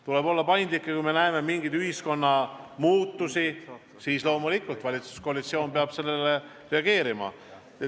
Tuleb olla paindlik ja kui me näeme mingeid muutusi ühiskonnas, siis loomulikult valitsuskoalitsioon peab sellele reageerima.